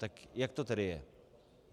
Tak jak to tedy je?